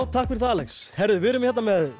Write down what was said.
takk fyrir það Alex við erum hérna með